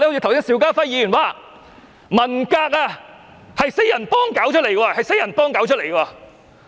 剛才邵家輝議員說，文革是四人幫搞出來。